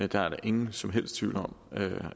der er ingen som helst tvivl om